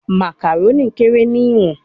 Macaroni kere ni iwọn